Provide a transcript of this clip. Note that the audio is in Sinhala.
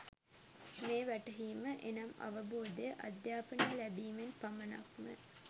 මේ වැටහීම එනම් අවබෝධය, අධ්‍යාපනය ලැබීමෙන් පමණක්ම